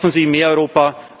Schaffen Sie mehr Europa!